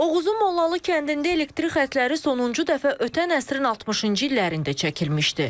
Oğuzun Mollalı kəndində elektrik xətləri sonuncu dəfə ötən əsrin 60-cı illərində çəkilmişdi.